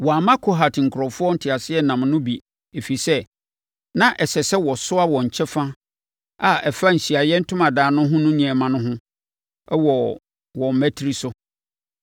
Wɔamma Kohat nkurɔfoɔ nteaseɛnam no bi, ɛfiri sɛ, na ɛsɛ sɛ wɔsoa wɔn kyɛfa a ɛfa Ahyiaeɛ Ntomadan no ho nneɛma no ho no wɔ wɔn mmatire.